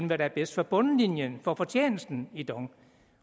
hvad der er bedst for bundlinjen for fortjenesten i dong